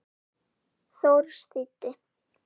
Thors þýddi.